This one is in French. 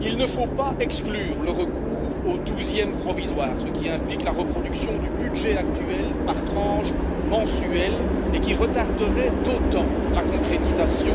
il ne faut pas exclure le recours aux douzièmes provisoires, ce qui implique la reproduction du budget actuel par tranches mensuelles, et ce qui retarderait d'autant la concrétisation